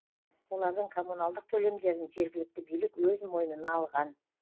олардың коммуналдық төлемдерін жергілікті билік өз мойнына алған